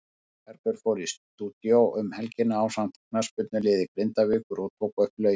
Bergur fór í stúdíó um helgina ásamt knattspyrnuliði Grindavíkur og tók upp lögin.